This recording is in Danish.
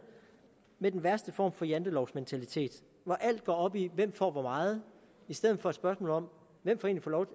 med den værste form for jantelovsmentalitet hvor alt går op i hvem der får hvor meget i stedet for at spørge